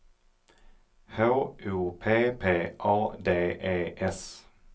H O P P A D E S